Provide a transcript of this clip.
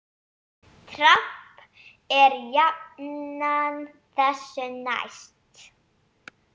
Dramb er jafnan þessu næst.